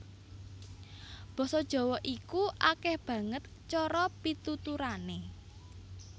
Basa Jawa iku akèh banget cara pituturané